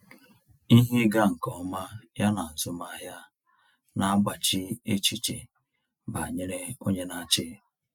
Ihe ịga nke ọma ya na azụmahịa na-agbaji echiche banyere onye na-achị.